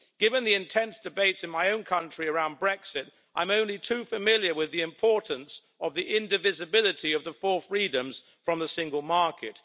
Given the intense debates in my own country around Brexit, I'm only too familiar with the importance of the indivisibility of the four freedoms of the Single Market.